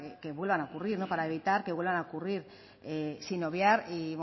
a ocurrir para evitar que vuelvan a ocurrir sin obviar y